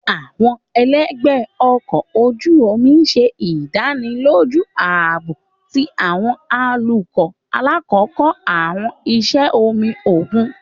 Àwọn ẹlẹgbẹ ọkọ oju omi ṣe idaniloju aabo ti àwọn atukọ lakoko àwọn iṣẹ omi okun.